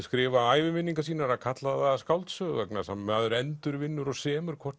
skrifa æviminningar sínar að kalla það skáldsögu vegna þess að maður endurvinnur og semur hvort